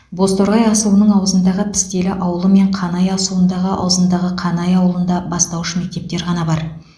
бозторғай асуының аузындағы пістелі ауылы мен қанай асуындағы аузындағы қанай ауылында бастауыш мектептер ғана бар